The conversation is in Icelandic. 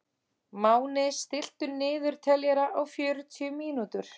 Máni, stilltu niðurteljara á fjörutíu mínútur.